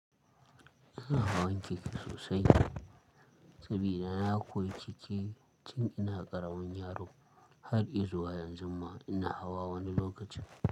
Ina hawan keke sosai. Sabida na koyi keke tun ina ƙaramin yaro har izuwa yanzu ma ina hawa wani lokaci.